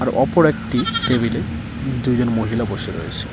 অপর একটি টেবিল এ দুইজন মহিলা বসে রয়েছে।